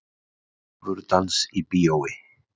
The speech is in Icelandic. Djarfur dans í bíói